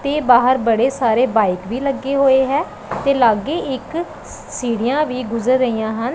ਤੇ ਬਾਹਰ ਬੜੇ ਸਾਰੇ ਬਾਈਕ ਵੀ ਲੱਗੇ ਹੋਏ ਹੈ ਤੇ ਲਾਗੇ ਇੱਕ ਸੀੜੀਆਂ ਵੀ ਗੁਜ਼ਰ ਰਹੀਆਂ ਹਨ।